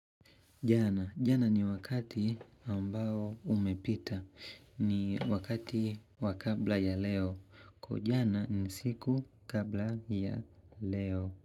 Jana. Jana ni wakati ambao umepita. Ni wakati wakabla ya leo. Kwaujana ni usiku kabla ya leo.